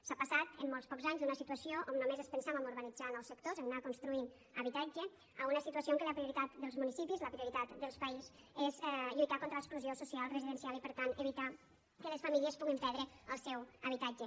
s’ha passat en molt pocs anys d’una situació on només es pensava a urbanitzar nous sectors a anar construint habitatge a una situació en què la prioritat dels municipis la prioritat del país és lluitar contra l’exclusió social residencial i per tant evitar que les famílies puguin perdre el seu habitatge